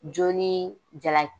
Jo ni jala